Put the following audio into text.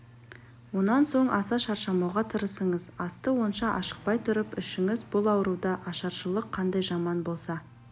онан соң аса шаршамауға тырысыңыз асты онша ашықпай тұрып ішіңіз бұл ауруда ашаршылық қандай жаман болса